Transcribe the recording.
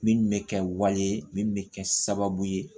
Min bɛ kɛ wale ye min bɛ kɛ sababu ye